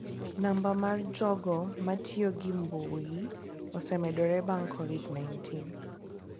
Namba mar jogo matiyo gi mbui osemedore bang' Kovid-19.